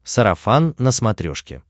сарафан на смотрешке